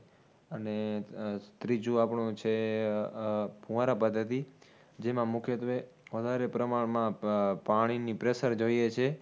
અને ત્રીજું આપણું છે આહ ફૂંવરા પદ્ધતિ, જેમાં મુખ્યત્વે વધારે પ્રમાણમાં પાણીની pressure જોઈએ છે